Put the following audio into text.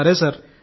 సరే సార్